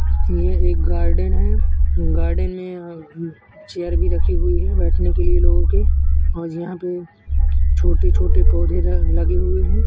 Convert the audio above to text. यह एक गार्डन है गार्डन में चेयर भी रखी हुई है बैठने के लिए लोगों के और यहाँं पर छोटे-छोटे पौधे लगे हुए हैं।